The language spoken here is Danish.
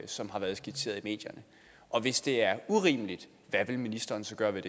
som har været skitseret i medierne og hvis det er urimeligt hvad vil ministeren så gøre ved